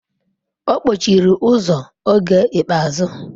Ọ kpọchiri ụzọ oge ikpeazụ.